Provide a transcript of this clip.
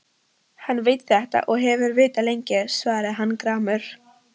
Hann veit þetta og hefur vitað lengi, svaraði hann gramur.